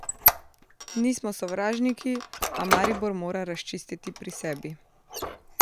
Nismo sovražniki, a Maribor mora razčistiti pri sebi.